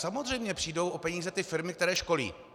Samozřejmě přijdou o peníze ty firmy, které školí.